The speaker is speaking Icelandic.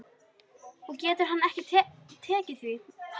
Og getur hann ekki tekið því?